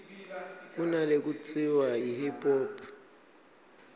kunalekutsiwa yi hip hop